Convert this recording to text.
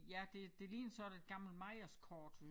Ja det det ligner sådan et gammelt Mejers Kort